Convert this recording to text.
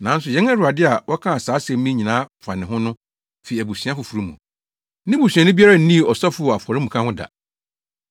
Nanso yɛn Awurade a wɔka saa asɛm yi nyinaa fa ne ho no fi abusua foforo mu. Ne busuani biara nnii ɔsɔfo wɔ afɔremuka ho da.